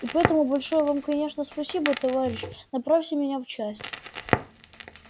и поэтому большое вам конечно спасибо товарищ направьте меня в часть